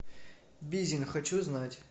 бизин хочу знать